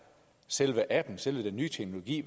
selve appen altså selve den nye teknologi